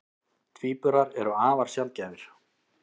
Tvíburar eru afar sjaldgæfir.